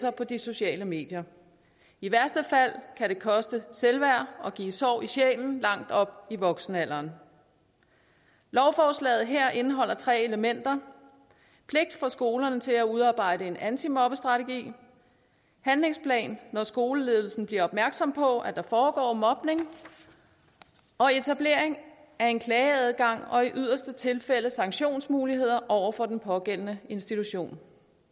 og på de sociale medier i værste fald kan det koste selvværd og give sår i sjælen langt op i voksenalderen lovforslaget her indeholder tre elementer pligt for skolerne til at udarbejde en antimobbestrategi handlingsplan når skoleledelsen bliver opmærksom på at der foregår mobning og etablering af en klageadgang og i yderste tilfælde sanktionsmuligheder over for den pågældende institution